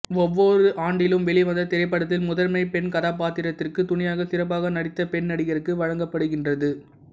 ஒவ்வொறு ஆண்டிலும் வெளிவந்த திரைப்படத்தில் முதன்மைப் பெண் கதாப்பாத்திரத்திற்கு துணையாக சிறப்பாக நடித்த பெண் நடிகருக்கு வழங்கப்படுகின்றது